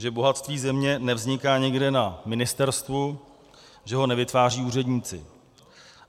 Že bohatství země nevzniká někde na ministerstvu, že ho nevytváří úředníci.